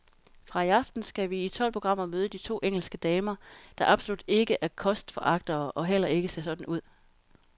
Fra i aften skal vi i tolv programmer møde to engelske damer, der absolut ikke er kostforagtere og heller ikke ser sådan ud.